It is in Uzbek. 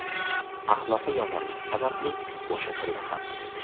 Axloqi yomonligi sababli bo‘shatildi ham.